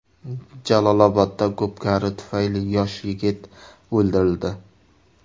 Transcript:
Jalolobodda ko‘pkari tufayli yosh yigit o‘ldirildi.